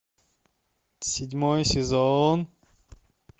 седьмой сезон